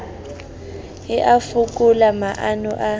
e a fokola maano a